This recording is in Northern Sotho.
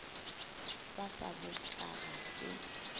ba sa bopša ga se